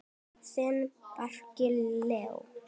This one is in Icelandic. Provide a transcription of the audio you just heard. Þinn, Bjarki Leó.